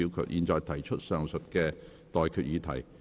我現在向各位提出上述待決議題。